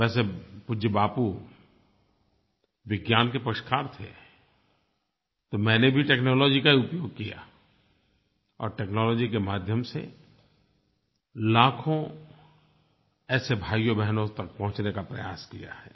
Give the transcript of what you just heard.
वैसे पूज्य बापू विज्ञान के पक्षकार थे तो मैंने भी टेक्नोलॉजी का ही उपयोग किया और टेक्नोलॉजी के माध्यम से लाखों ऐसे भाइयोंबहनों तक पहुँचने का प्रयास किया है